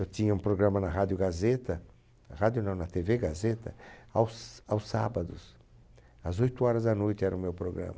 Eu tinha um programa na Rádio Gazeta, rádio não, na Tevê Gazeta aos aos sábados, às oito horas da noite era o meu programa.